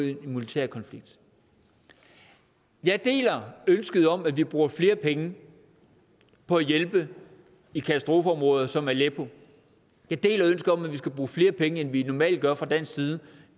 en militærkonflikt jeg deler ønsket om at vi bruger flere penge på at hjælpe i katastrofeområder som aleppo jeg deler ønsket om at vi skal bruge flere penge end vi normalt gør fra dansk side